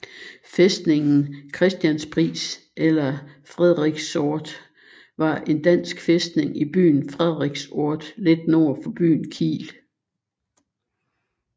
Fæstningen Christianspris eller Frederiksort var en dansk fæstning i byen Frederiksort lidt nord for byen Kiel